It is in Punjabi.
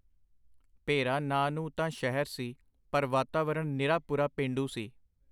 ਭੇਰਾ ਨਾਂ ਨੂੰ ਤਾਂ ਸ਼ਹਿਰ ਸੀ, ਪਰ ਵਾਤਾਵਰਣ ਨਿਰਾਪੁਰਾ ਪੇਂਡੂ ਸੀ.